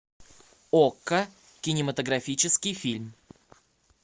окко кинематографический фильм